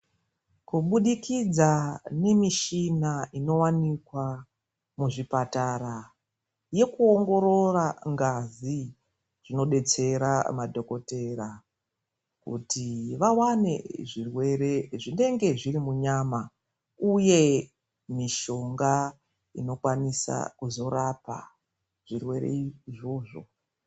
Kubudikidza nemishina inowanikwa muzvibhedhlera yekuongorora ngazi inodetsera madhokotera kuti vawane zvirwere zvinenge zviri munyama uye mitombo inokwanisa kurapa zvirwere izvozvo.